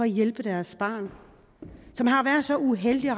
hjælpe deres barn som har været så uheldig at